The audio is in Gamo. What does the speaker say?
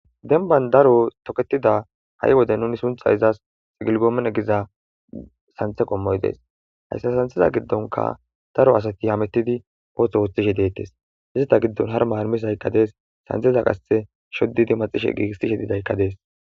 denban daro toketida ha7i wode nuni suntha izas xigilgoomen egiza santhe qommoy dees hayssa santheza giddonka daro asati hamettidi ootho woothishe deettes hizita giddon har maarmisaykka dees santeza qasse shoddidi maxishe giigistishe didaykka dees